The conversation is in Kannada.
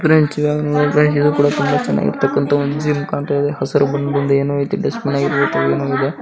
ಪ್ರೆಂಡ್ಸ್ ಇದು ನೋಡಿದ್ರೆ ಇದು ಕೂಡ ತುಂಬ ಚೆನ್ನಾಗಿರುವತಕ್ಕನ ಒಂದು ಜಿಮ್ ಆಗಿದೆ ಹಸಿರುಬಣ್ಣದಲ್ಲಿ ಏನೋ ಇಟ್ಟಿದ್ದಾರೆ ಡ್ಸ್ಟಬಿನ್ ಏನೋ ಇದೆ.